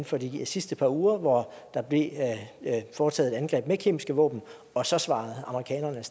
for de sidste par uger hvor der blev foretaget et angreb med kemiske våben og så svarede amerikanerne